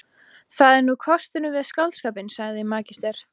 Það er nú kosturinn við skáldskapinn, svaraði magister